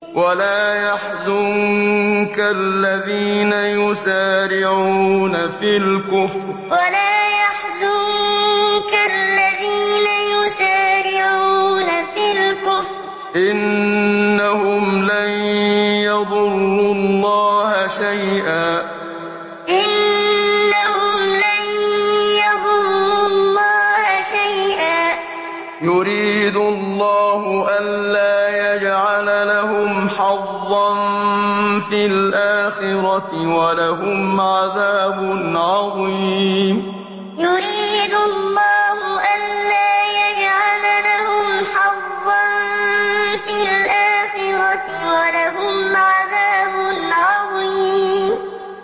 وَلَا يَحْزُنكَ الَّذِينَ يُسَارِعُونَ فِي الْكُفْرِ ۚ إِنَّهُمْ لَن يَضُرُّوا اللَّهَ شَيْئًا ۗ يُرِيدُ اللَّهُ أَلَّا يَجْعَلَ لَهُمْ حَظًّا فِي الْآخِرَةِ ۖ وَلَهُمْ عَذَابٌ عَظِيمٌ وَلَا يَحْزُنكَ الَّذِينَ يُسَارِعُونَ فِي الْكُفْرِ ۚ إِنَّهُمْ لَن يَضُرُّوا اللَّهَ شَيْئًا ۗ يُرِيدُ اللَّهُ أَلَّا يَجْعَلَ لَهُمْ حَظًّا فِي الْآخِرَةِ ۖ وَلَهُمْ عَذَابٌ عَظِيمٌ